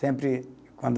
Sempre quando.